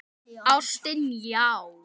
Ástin, já!